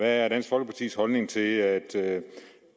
er dansk folkepartis holdning til at